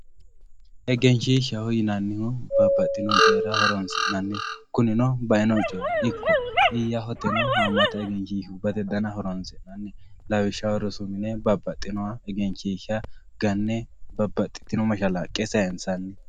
Egenshiishaho yinanihu babaxewo coyira horonsinaniho kunino baino coyi iyahoteno egenshishibate dana horonsinani lawishshaho rosu mine babaxinoha egenshisha gane babaxitino mashalaqe sayinsani.